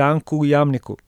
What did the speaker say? Janku Jamniku.